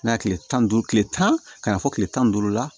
N'a ye kile tan ni duuru tile tan fɔ kile tan ni duuru la